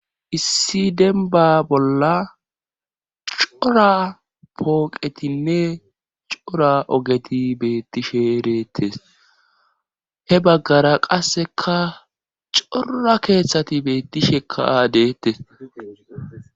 Issi denba bolla cora pooqetinne cora ogeti beetti sheretes he baggara qasseka cora keeththati beetti shekaa deettes.